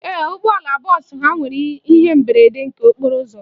Ee, ụgbọala bọọsụ ha nwere ihe mberede nke okporo ụzọ.